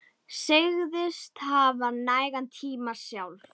Segist hafa nægan tíma sjálf.